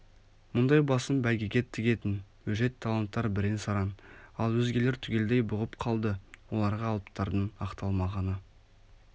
мұндай басын бәйгеге тігетін өжет таланттар бірен-саран ал өзгелер түгелдей бұғып қалды оларға алыптардың ақталмағаны